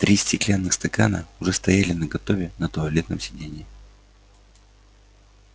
три стеклянных стакана уже стояли наготове на туалетном сиденье